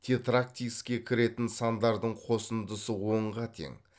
тетрактиске кіретін сандардың қосындысы онға тең